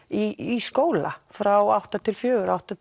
í skóla frá átta til fjögur eða átta